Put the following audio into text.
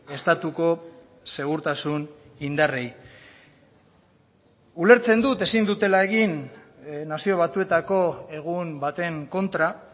estatuko segurtasun indarrei ulertzen dut ezin dutela egin nazio batuetako egun baten kontra